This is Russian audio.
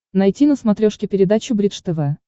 найти на смотрешке передачу бридж тв